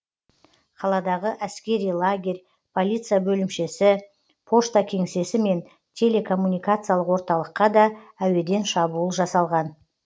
қаладағы әскери лагерь полиция бөлімшесі пошта кеңсесі мен телекоммуникациялық орталыққа да әуеден шабуыл жасалған